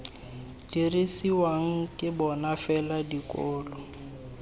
dirisiwang ke bona fela dikolo